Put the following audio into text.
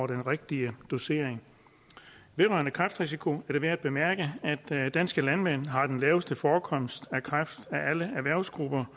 den rigtige dosering vedrørende kræftrisiko er det værd at bemærke at danske landmænd har den laveste forekomst af kræft af alle erhvervsgrupper